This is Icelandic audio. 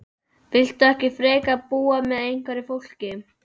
Viltu ekki frekar búa með einhverju fólki?